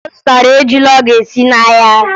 Ọ zụtara ejula ọ ga-esi n'ahịa